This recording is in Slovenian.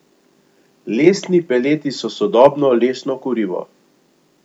Lesni peleti so sodobno lesno kurivo.